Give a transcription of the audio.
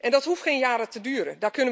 Dat hoeft geen jaren te duren.